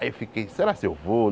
Aí eu fiquei, será se eu vou?